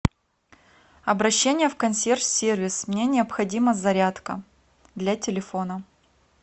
обращение в консьерж сервис мне необходима зарядка для телефона